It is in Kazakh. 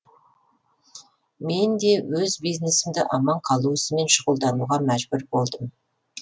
мен де өз бизнесімді аман қалу ісімен шұғылдануға мәжбүр болдым